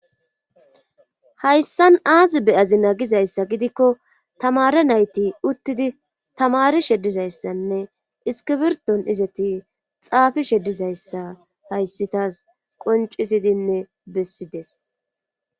Hayssan aazi beyazi nagizayssa gidikko tamara nayti uttidi tamari shedizayssanne iskibirton izeti xaafi sheddizayssa hayssitas qoncisidinne bessides.